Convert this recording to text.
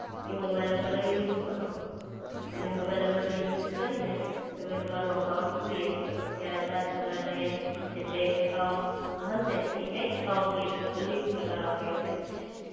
એ mobile નંબરનો use કરો. અને મોબાઈલ નંબરનો યુઝ કરીને, તમે તમારો અકાઉન્ટ ક્રિએટ કરો. ત્યાર બાદ તમને જે બેંક એકાઉન્ટ હશે, ઈ બેંક એકાઉન્ટ લીક લિંક્ડ કરવા કેશે.